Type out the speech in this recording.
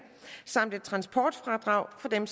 samt et transportfradrag for dem